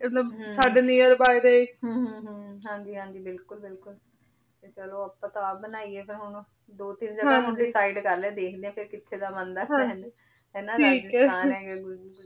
ਮਤਲਬ ਸਾਡੇ near by ਦੇ ਹਨ ਹਨ ਹਨ ਹਾਂਜੀ ਬਿਲਕੁਲ ਬਿਲਕੁਲ ਤੇ ਚਲੋ ਆਪਾਂ ਤਾਂ ਆਪ ਬ੍ਨੈਯਾਯ ਹਨ ਦੋ ਤੀਨ ਜਗਾ ਮੈਂ decide ਕਰ ਲਿਯ ਆ ਦੇਖ ਲੇ ਕ ਕਿਥੇ ਦਾ ਬੰਦਾ ਆਯ ਹਾਂਜੀ ਹੈ ਨਾ ਰਾਜਿਸਥਾਨ ਹੇਗਾ